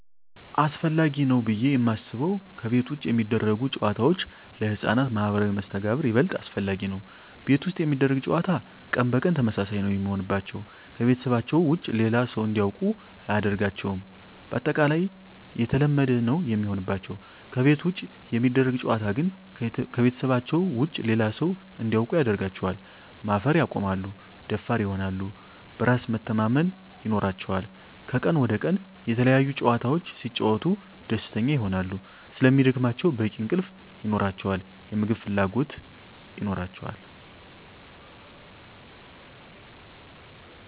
አሰፈላጊ ነው ብዬ የማስበው ከቤት ውጭ የሚደረጉ ጨዋታዎች ለህፃናት ማህበራዊ መስተጋብር ይበልጥ አስፈላጊ ነው። ቤት ውስጥ የሚደረግ ጨዋታ ቀን በቀን ተመሳሳይ ነው የሚሆንባቸው , ከቤተሰባቸው ውጭ ሌላ ሰው እንዲያውቁ አያደርጋቸውም ባጠቃላይ የተለመደ ነው የሚሆንባቸው። ከቤት ውጭ የሚደረግ ጨዋታ ግን ከቤተሰባቸው ውጭ ሌላ ሰው እንዲያውቁ ያደርጋቸዋል, ማፈር ያቆማሉ, ደፋር ይሆናሉ, በራስ መተማመን ይኖራቸዋል," ከቀን ወደ ቀን የተለያዪ ጨዋታዎች ሲጫወቱ ደስተኛ ይሆናሉ ስለሚደክማቸው በቂ እንቅልፍ ይኖራቸዋል, የምግብ ፍላጎት ይኖራቸዋል።